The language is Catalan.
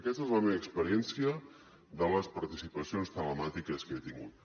aquesta és la meva experiència de les participacions telemàtiques que he tingut